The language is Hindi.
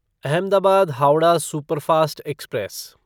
Ahmedabad Howrah superfast express